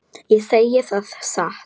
Ég segi það satt.